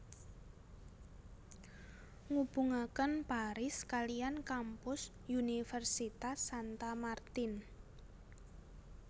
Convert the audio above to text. Ngubungaken Paris kaliyan kampus universitas Santa Martin